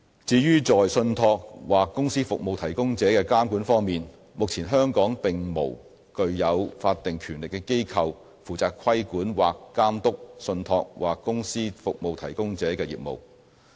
至於在信託或公司服務提供者的監管方面，目前香港並無具有法定權力的機構，負責規管或監督信託或公司服務提供者的業務。